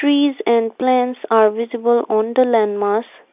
trees and plants are visible on the land mass.